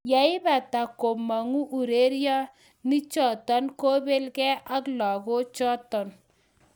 Yeibata, kimongu urerenichoton kobel gee ak lagochoton.